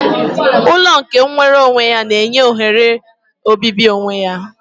Ụlọ nke nwere onwe ya na-enye ohere obibi onwe ya